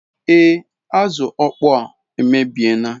Ee azu okpoo a emebie na